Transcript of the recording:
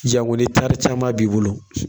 Jango ni tari caman b'i bolo